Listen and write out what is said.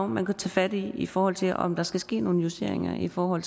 man kunne tage fat i i forhold til om der skal ske nogle justeringer i forhold